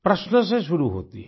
प्रश्न से शुरू होती है